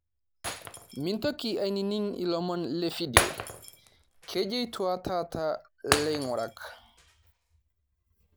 Mintoki ainining' ilomon le fidio, kejityo taata aa ilaing; urak